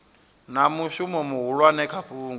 na mushumo muhulwane kha fhungo